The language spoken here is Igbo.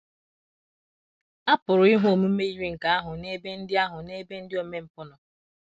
A pụrụ ịhụ omume yiri nke ahụ n’ebe ndị ahụ n’ebe ndị omempụ nọ.